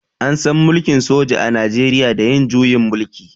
An san mulkin soja a najeriya da yin juyin mulki.